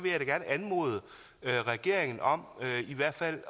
jeg gerne anmode regeringen om i hvert fald